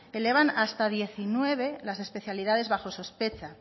elevan hasta diecinueve las especialidades bajo sospecha